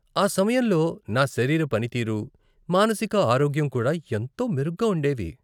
ఆ సమయంలో నా శరీర పనితీరు, మానసిక ఆరోగ్యం కూడా ఎంతో మెరుగ్గా ఉండేవి.